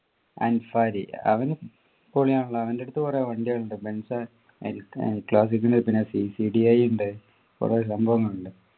അൻസാരി അവനു പൊളിയാണല്ലോ അവൻ്റെ അടുത്തു കുറെ വണ്ടികളുണ്ട് ബെൻസ് പിന്നെ സി സി ഡി ഐ ഉണ്ട് കുറെ സംഭവങ്ങളുണ്ട്